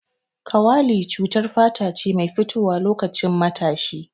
Kawali cutar fata ce mai fitowa loƙacin matashi.